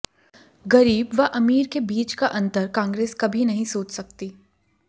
गरीब व अमीर के बीच का अंतर कांग्रेस कभी नहीं सोच सकती